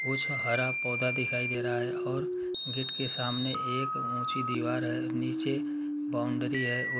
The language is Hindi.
कुछ हरा पौधा दिखाई दे रहा है और गेट के सामने एक ऊंची दीवार हैनीचे बाउंड्री है वो --